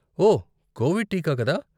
ఓ, Covid టీకా కదా?